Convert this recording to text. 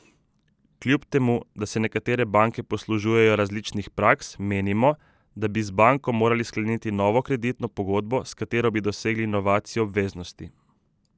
Kljub temu da se nekatere banke poslužujejo različnih praks, menimo, da bi z banko morali skleniti novo kreditno pogodbo, s katero bi dosegli novacijo obveznosti.